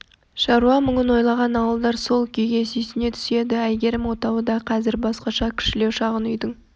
шаруа мұңын ойлаған ауылдар сол күйге сүйсіне түседі әйгерім отауы да қазір басқаша кішілеу шағын үйдің